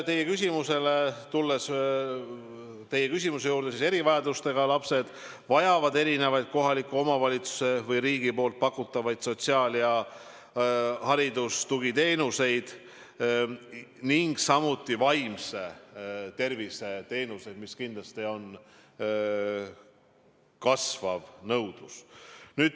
Tulles teie küsimuse juurde, siis erivajadustega lapsed vajavad erinevaid kohaliku omavalitsuse või riigi pakutavaid sotsiaal- ja haridustugiteenuseid, samuti vaimse tervise teenuseid, mille järele on kindlasti kasvav nõudlus.